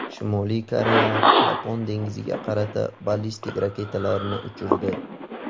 Shimoliy Koreya Yapon dengiziga qarata ballistik raketalarni uchirdi.